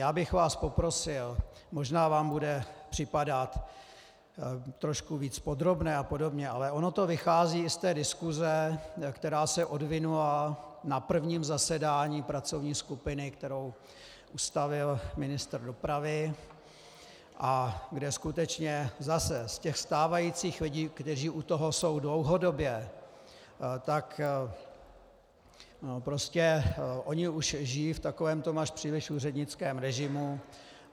Já bych vás poprosil, možná vám bude připadat trošku víc podrobné a podobně, ale ono to vychází i z té diskuse, která se odvinula na prvním zasedání pracovní skupiny, kterou ustavil ministr dopravy a kde skutečně zase z těch stávajících lidí, kteří u toho jsou dlouhodobě, tak prostě oni už žijí v takovém tom až příliš úřednickém režimu.